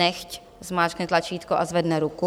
Nechť zmáčkne tlačítko a zvedne ruku.